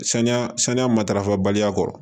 Saniya saniya matarafa baliya kɔrɔ